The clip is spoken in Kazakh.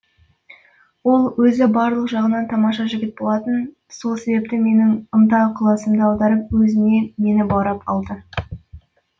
ол өзі барлық жағынан тамаша жігіт болатын со себепті менің ынта ықыласымды аударып өзіне мені баурап алды